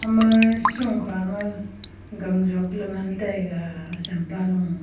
ama shokhama gang jopley ngan taiga assampa lo.